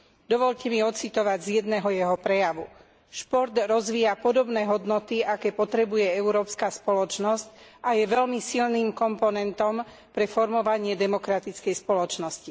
Dovoľte mi odcitovať z jedného jeho prejavu Šport rozvíja podobné hodnoty, aké potrebuje európska spoločnosť, a je veľmi silným komponentom pre formovanie demokratickej spoločnosti.